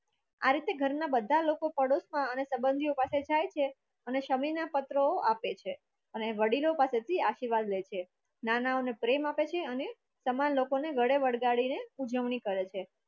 આ રીતે ઘર બધા લોકો પદોસ મા અને સબંધિયો પાસે જાય છે અને સમી ના પત્રો આપે છે અને વડીલો પાસેથી આશીર્વાદ લે છે નાના અને પ્રેમ આપે છે અને તમામ લોકોને ગળે વળગાડીને ઉજવણી કરે છે